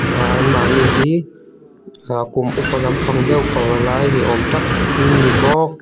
ah anmahni hi ah kum upa lam pang deuh pavalai ni awm tak an ni bawk.